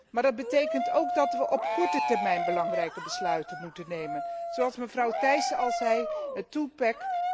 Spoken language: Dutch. Maar het betekent ook dat we op korte termijn belangrijke besluiten moeten nemen, zoals mevrouw Thyssen al zei, het twopack